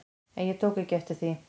En ég tók ekki eftir því.